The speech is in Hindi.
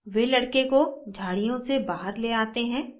वे लड़के को झाड़ियों से बहार they they हैं